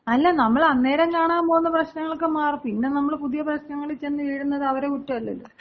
അല്ല നമ്മള് അന്നേരം കാണാൻ പോകുന്ന പ്രശ്നങ്ങളൊക്കെ മാറും. പിന്നെ നമ്മള് പുതിയ പ്രശ്നങ്ങളി ചെന്ന് വീഴുന്നത് അവര കുറ്റമല്ലല്ലോ.